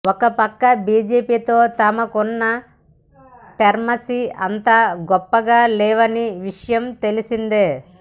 ఒకపక్క బీజేపీతో తమకున్న టర్మ్స్ అంత గొప్పగా లేవన్న విషయం తెలిసిందే